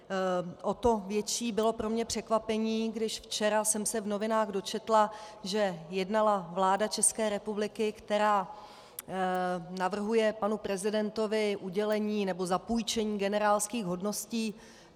O to větší bylo pro mě překvapení, když včera jsem se v novinách dočetla, že jednala vláda České republiky, která navrhuje panu prezidentovi udělení nebo zapůjčení generálských hodností.